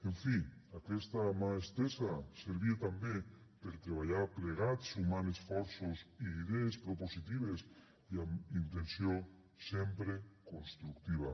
en fi aquesta mà estesa servia també per a treballar plegats sumant esforços i idees propositives i amb intenció sempre constructiva